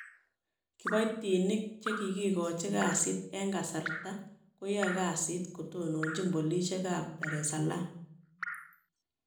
Kiboitinik chegikigochi kasit en kasarta koyae kasiit kotononchin polisiek ab Dar es Salaam.